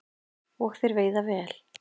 Og þeir veiða vel